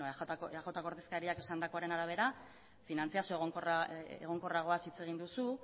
aipatutako eajko ordezkariak esandakoaren arabera finantziazio egonkorragoaz hitz egin duzu